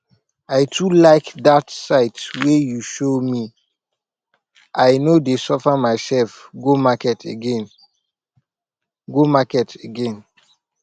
i too like that site wey you show me i no dey suffer myself go market again go market again